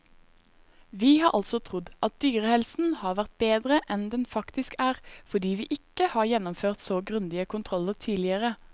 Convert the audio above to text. Vi har altså trodd at dyrehelsen har vært bedre enn den faktisk er, fordi vi ikke har gjennomført så grundige kontroller tidligere.